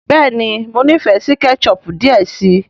béèni mọ n'ifẹ sí ketchup diẹ sí.